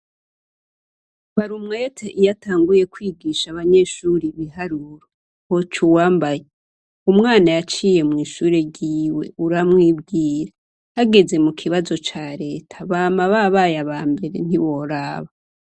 Barumwete iy'atanguye kwigisha abanyeshuri ibiharuro hocuwambaye. Umwana yaciye mw'ishure ryiwe uramwibwira, hageze mu kibazo ca Reta bama babaye abambere ntiworaba.